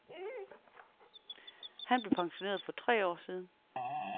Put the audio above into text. Han blev pensioneret for tre år siden.